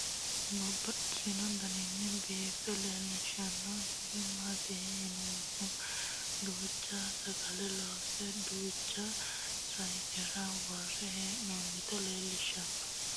Babaxxittinno daninni biiffe aleenni hige leelittannotti tinni misile lelishshanori isi maattiya yinummoro duuchcha sagale loonse , duuchcha sayiinnera wore hee'noonniti leelittanno.